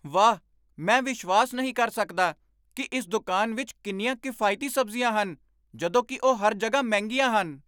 ਵਾਹ, ਮੈਂ ਵਿਸ਼ਵਾਸ ਨਹੀਂ ਕਰ ਸਕਦਾ ਕਿ ਇਸ ਦੁਕਾਨ ਵਿੱਚ ਕਿੰਨੀਆਂ ਕਿਫਾਇਤੀ ਸਬਜ਼ੀਆਂ ਹਨ ਜਦੋਂ ਕਿ ਉਹ ਹਰ ਜਗ੍ਹਾ ਮਹਿੰਗੀਆਂ ਹਨ!